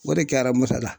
O de kɛra moto la